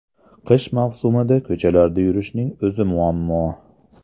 Qish mavsumida ko‘chalarda yurishning o‘zi muammo.